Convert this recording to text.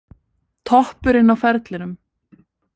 Toppurinn á ferlinum